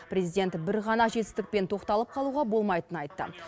президент бір ғана жетістікпен тоқталып қалуға болмайтынын айтты